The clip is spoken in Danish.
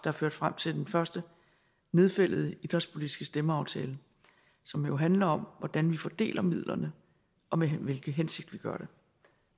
har ført frem til den første nedfældede idrætspolitiske stemmeaftale som jo handler om hvordan vi fordeler midlerne og med hvilken hensigt vi gør det